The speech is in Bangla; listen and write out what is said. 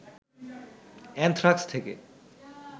অ্যানথ্রাক্স থেকে